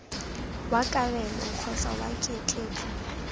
wa kabelo kgotsa wa ketleetso